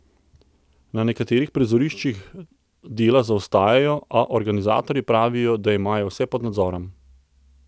Na nekaterih prizoriščih dela zaostajajo, a organizatorji pravijo, da imajo vse pod nadzorom.